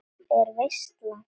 Er veisla?